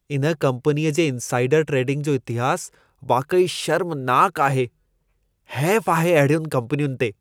इन कम्पनीअ जे इनसाइडर ट्रेडिंग जो इतिहास वाक़ई शर्मनाक आहे। हैफ़ आहे अहिड़ियुनि कम्पनियुनि ते!